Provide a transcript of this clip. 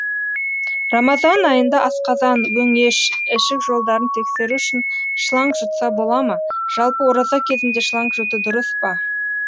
рамазан айында асқазан өңеш ішік жолдарын тексеру үшін шланг жұтса бола ма жалпы ораза кезінде шланг жұту дұрыс па